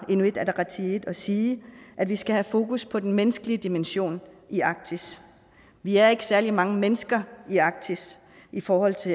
inuit ataqatigiit at sige at vi skal have fokus på den menneskelige dimension i arktis vi er ikke særlig mange mennesker i arktis i forhold til